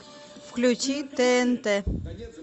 включи тнт